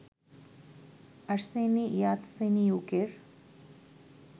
Arseniy ইয়াতসেনিয়ুকের